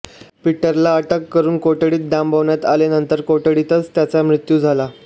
पीटरला अटक करुन कोठडीत डांबण्यात आले नंतर कोठडीतच त्याचा मृत्यू झाला